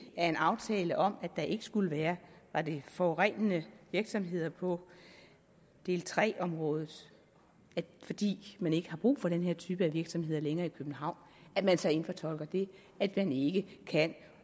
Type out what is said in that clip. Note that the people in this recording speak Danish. af en aftale om at der ikke skulle være var det forurenende virksomheder på del tre området er det fordi man ikke længere har brug for den her type af virksomheder i københavn at man så indfortolker det at man ikke kan